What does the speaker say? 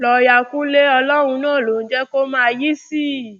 lọọọyà kúnlẹ ọlọrun náà ló ń jẹ kó máa yìísì